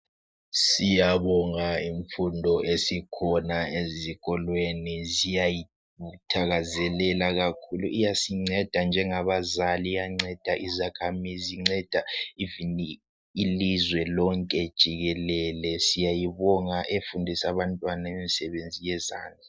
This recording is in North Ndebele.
Siyabonga imfundo esikhona ezikolweni siyayithakazelela kakhulu. Iyasinceda njengabazali, iyanceda izakhamizi inceda kanye lelizwe lonke jikelele. Siyayibonga ngokufundisa abantwana imisebenzi yezandla.